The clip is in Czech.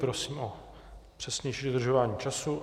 Prosím o přesnější dodržování času.